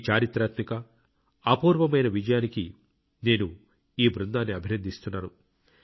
ఈ చరిత్రాత్మక అపూర్వమైన విజయానికి నేను ఈ బృందాన్ని అభినందిస్తున్నాను